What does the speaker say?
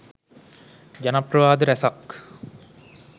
ජනප්‍රවාද රැසක්